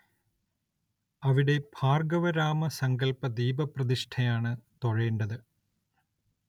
അവിടെ ഭാർഗ്ഗവരാമ സങ്കല്പ ദീപപ്രതിഷ്ഠയാണ് തൊഴേണ്ടത്.